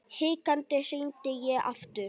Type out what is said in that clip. Hikandi hringdi ég aftur.